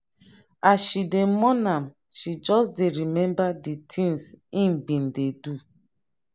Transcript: as she dey mourn am she just dey remember di tins im bin dey do.